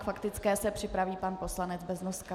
K faktické se připraví pan poslanec Beznoska.